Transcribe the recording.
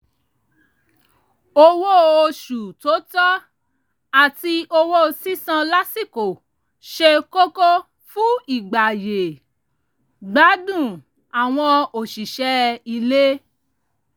owó oṣù tó tọ́ àti owó sísan lásìkò ṣe kókó fún ìgbáyé-gbádùn àwọn òṣìṣẹ́ ilé